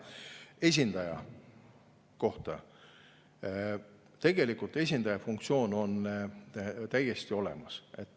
Esindaja kohta: tegelikult on esindaja funktsioon täiesti olemas.